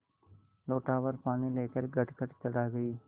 लोटाभर पानी लेकर गटगट चढ़ा गई